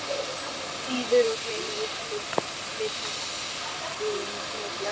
þýður og gleymi öllum litháískum hótunum.